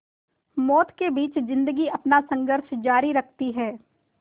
मौत के बीच ज़िंदगी अपना संघर्ष जारी रखती है